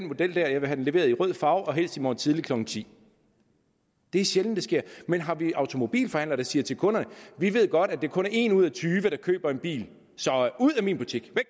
model jeg vil have den leveret i rød farve og helst i morgen tidlig klokken tiende det er sjældent det sker men har vi automobilforhandlere der siger til kunderne vi ved godt at det kun er en ud af tyve der køber en bil så ud af min butik